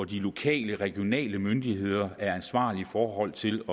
de lokale og regionale myndigheder er ansvarlige i forhold til